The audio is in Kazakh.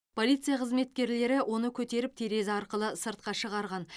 полиция қызметкерлері оны көтеріп терезе арқылы сыртқа шығарған